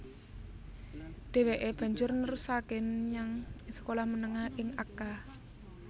Dheweke banjur nerusake menyang sekolah menengah ing Akka